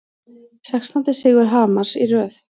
Sextándi sigur Hamars í röð